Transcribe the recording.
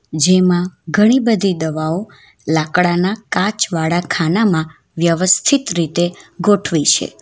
જેમાં ઘણી બધી દવાઓ લાકડાના કાચવાડા ખાનામાં વ્યવસ્થિત રીતે ગોઠવી છે.